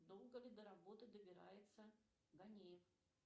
долго ли до работы добирается ганеев